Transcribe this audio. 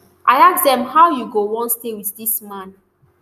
i ask dem how you go wan stay wit dis man